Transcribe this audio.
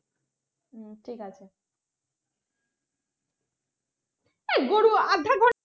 হুম ঠিক আছে।